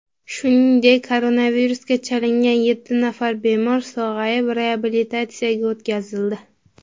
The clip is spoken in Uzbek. Shuningdek, koronavirusga chalingan yetti nafar bemor sog‘ayib, reabilitatsiyaga o‘tkazildi .